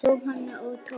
Jóhanna og Tómas.